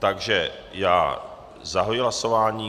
Takže já zahajuji hlasování.